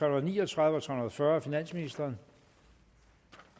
og ni og tredive og tre hundrede og fyrre af finansministeren